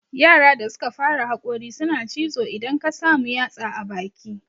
Yara da suka fara haƙori suna cizo idan ka samu yatsa a baki